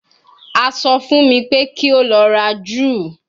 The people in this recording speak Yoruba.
A sọ fun mi pe ki o lọ ra ju